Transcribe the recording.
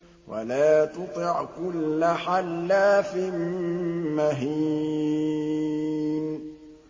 وَلَا تُطِعْ كُلَّ حَلَّافٍ مَّهِينٍ